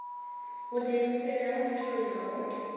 vhudiimiseli ha mutholi ha u